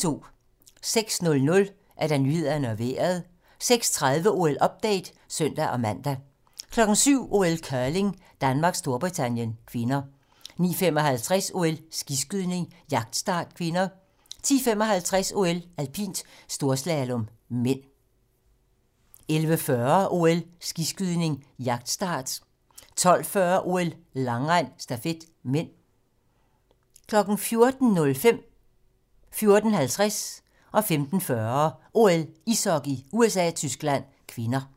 06:00: Nyhederne og Vejret 06:30: OL-update (søn-man) 07:00: OL: Curling - Danmark-Storbritannien (k) 09:55: OL: Skiskydning - jagtstart (k) 10:55: OL: Alpint - storslalom (m) 11:40: OL: Skiskydning - jagtstart 12:40: OL: Langrend - stafet (m) 14:05: OL: Ishockey - USA-Tyskland (k) 14:50: OL: Ishockey - USA-Tyskland (k) 15:40: OL: Ishockey - USA-Tyskland (k)